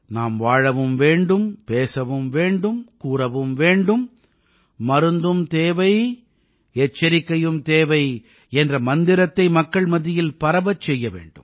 நாம் வாழவும் வேண்டும் பேசவும் வேண்டும் கூறவும் வேண்டும் மருந்தும் தேவை எச்சரிக்கையும் தேவை என்ற மந்திரத்தை மக்கள் மத்தியில் பரவச் செய்ய வேண்டும்